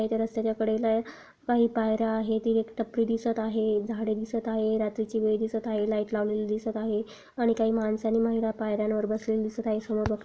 काही त्या रसत्या कड़े ला काही पायऱ्या आहेत तिथे एक टपरी दिसत आहे झाड़े दिसत आहे रात्री सी वेळ दिसत आहे लाइट लवलेली दिसत आहे आणि काही माणस आणि महिला पायऱ्यावर बसलेली दिसत आहे. समोर बग--